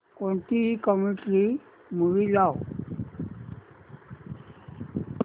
कोणतीही comedy movie लाव